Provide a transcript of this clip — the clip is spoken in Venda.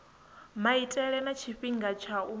maitele na tshifhinga tsha u